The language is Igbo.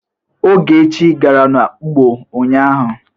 Ogechi gara n'ugbo ụnyaahụ?